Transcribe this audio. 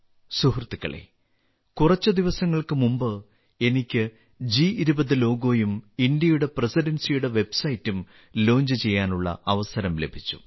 സുഹൃത്തുക്കളേ കുറച്ച് ദിവസങ്ങൾക്ക് മുമ്പ് എനിക്ക് ജി20 ലോഗോയും ഇന്ത്യയുടെ പ്രസിഡൻസിയുടെ വെബ്സൈറ്റും പ്രകാശനം ചെയ്യാനുള്ള അവസരം ലഭിച്ചു